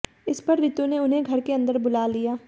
इस पर रितु ने उन्हे घर के अंदर बुला लिया